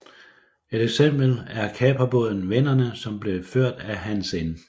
Et eksempel er kaperbåden Vennerne som blev ført af Hans N